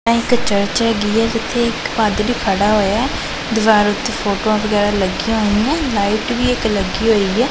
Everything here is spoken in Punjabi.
ਇਹ ਇੱਕ ਚਰਚ ਹੈਗੀ ਜਿੱਥੇ ਇੱਕ ਪਾਦਰੀ ਖੜਾ ਹੋਇਆ ਦੀਵਾਰ ਉੱਤੇ ਫੋਟੋਆਂ ਵਗੈਰਾ ਲੱਗੀਆਂ ਹੋਈਆਂ ਨੇ ਲਾਈਟ ਵੀ ਇੱਕ ਲੱਗੀ ਹੋਈ ਏ।